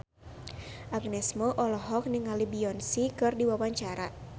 Agnes Mo olohok ningali Beyonce keur diwawancara